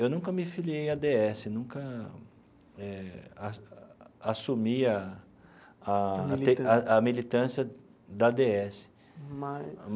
Eu nunca me filiei à dê esse, nunca eh a assumi a a militância da dê esse.